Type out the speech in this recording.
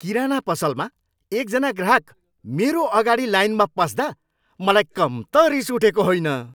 किराना पसलमा एकजना ग्राहक मेरो अगाडि लाइनमा पस्दा मलाई कम त रिस उठेको होइन।